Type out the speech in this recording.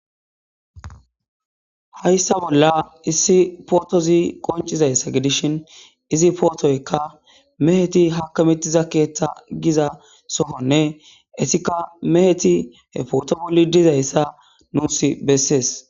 Hayssa bolla issi pootozi qoncizayssa gidishin izi pootoykka meheti hakamitiza keeththa giza sohonne esika meheti he pooto bolli dizayssa nuus bessees.